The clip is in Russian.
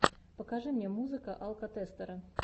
покажи мне музыка алкотестера